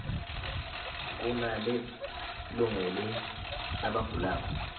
kunale lungele labagulako